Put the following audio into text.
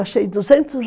Achei duzentos